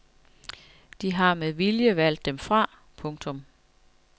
De har med vilje valgt dem fra. punktum